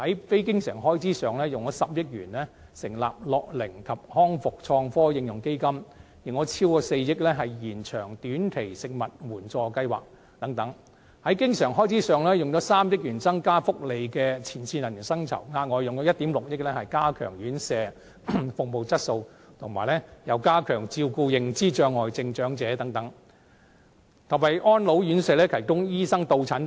非經常性開支方面，以10億元成立樂齡及康復創科應用基金、以超過4億元延長短期食物援助服務計劃等；在經常性開支方面，以3億元增加福利界前線人員的薪酬、額外以1億 6,000 萬元加強院舍服務質素，加強照顧認知障礙症長者及為安老院舍提供醫生到診服務等。